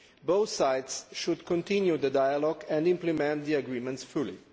Both sides should continue the dialogue and implement the agreements fully.